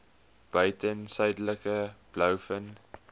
buiten suidelike blouvin